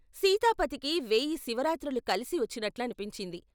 సీతాపతికి వేయి శివరాత్రులు కలిసి వచ్చినట్లనిపించింది.